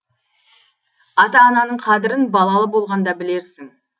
ата ананың қадірін балалы болғанда білерсің